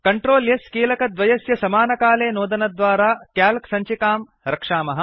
CTRL S कीलकद्वयस्य समकालमेव नोदनद्वारा क्याल्क् सञ्चिकां रक्षामः